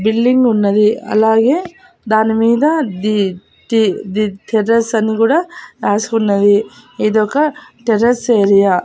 Building ఉన్నది అలాగే దానిమీద ది ది ది టెర్రస్ అని కూడా రాసుకున్నది ఇదొక టెర్రస్ ఏరియా .